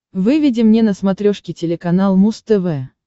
выведи мне на смотрешке телеканал муз тв